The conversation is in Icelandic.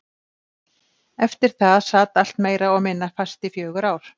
Eftir það sat allt meira og minna fast í fjögur ár.